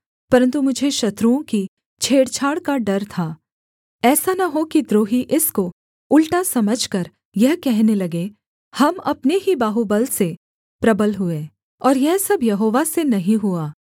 परन्तु मुझे शत्रुओं की छेड़छाड़ का डर था ऐसा न हो कि द्रोही इसको उलटा समझकर यह कहने लगें हम अपने ही बाहुबल से प्रबल हुए और यह सब यहोवा से नहीं हुआ